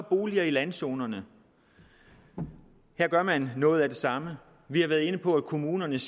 boliger i landzonerne her gør man noget af det samme vi har været inde på at kommunerne